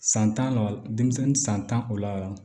San tan la denmisɛnnin san tan o la